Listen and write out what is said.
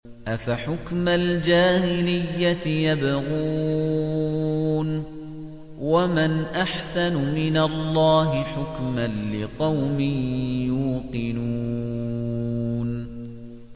أَفَحُكْمَ الْجَاهِلِيَّةِ يَبْغُونَ ۚ وَمَنْ أَحْسَنُ مِنَ اللَّهِ حُكْمًا لِّقَوْمٍ يُوقِنُونَ